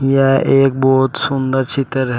यह एक बहोत सुंदर चित्र है।